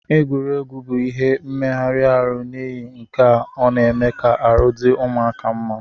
Egwuregwu bu ihe meghari arụ nihi nkea ọna eme ka arụ di ụmụaka mma.